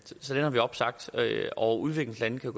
så den har vi opsagt og udviklingslandene kan